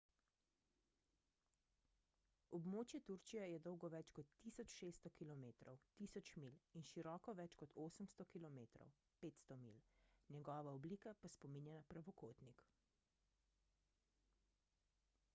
območje turčije je dolgo več kot 1600 km 1000 milj in široko več kot 800 km 500 milj njegova oblika pa spominja na pravokotnik